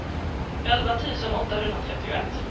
elva tusen åttahundratrettioett